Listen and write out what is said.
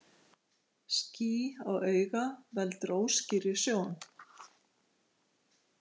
Ský á auga veldur óskýrri sjón.